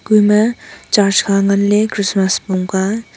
ema church kha nganley christmas pongka--